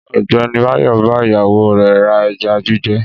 Ọ̀gbẹ́ni Báyò bá ìyàwó rẹ̀ ra ẹja gbígbẹ.